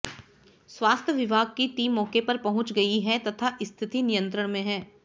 स्वास्थ्य विभाग की टीम मौके पर पहुंच गई है तथा स्थिति नियंत्रण में है